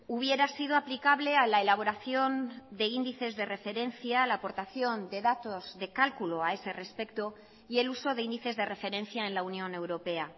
hubiera sido aplicable a la elaboración de índices de referencia a la aportación de datos de cálculo a ese respecto y el uso de índices de referencia en la unión europea